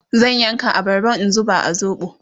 zan yanka abarban in zuba a zoɓo